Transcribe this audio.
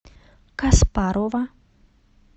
каспарова